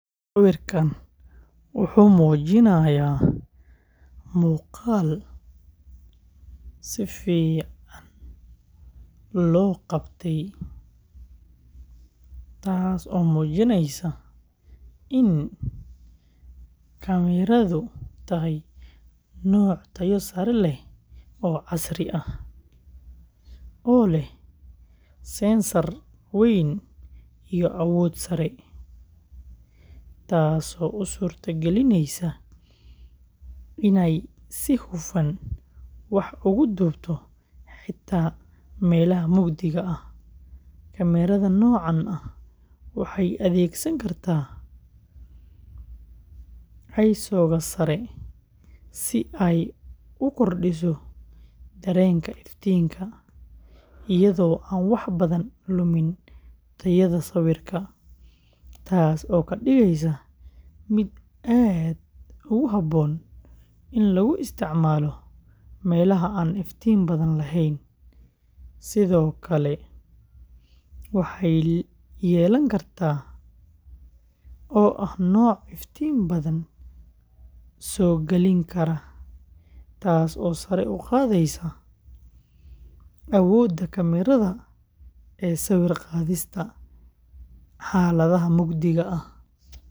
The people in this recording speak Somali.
Sawirkaan wuxuu muujinayaa muuqaal si fiican loo qabtay, taas oo muujinaysa in kaamiradu tahay nooc tayo sare leh oo casri ah, oo leh sensor weyn iyo awood sare, taasoo u suurtagelineysa inay si hufan wax ugu duubto xitaa meelaha mugdiga ah. Kaamirada noocaan ah waxay adeegsan kartaa ISOga sare si ay u kordhiso dareenka iftiinka, iyadoo aan wax badan lumin tayada sawirka, taas oo ka dhigaysa mid aad ugu habboon in lagu isticmaalo meelaha aan iftiin badan lahayn. Sidoo kale, waxay yeelan kartaa, oo ah nooc iftiin badan soo galin kara, taas oo sare u qaadaysa awoodda kaamirada ee sawir qaadista xaaladaha mugdiga ah.